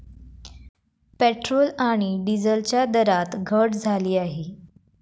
Petrol आणि डिझेलच्या दरात घट झाली आहे.